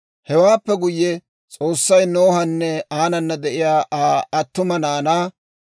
Hewaappe guyye, S'oossay Nohanne aanana de'iyaa Aa attuma naanaa,